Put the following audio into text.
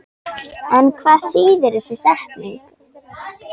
En hvað þýðir þessi setning?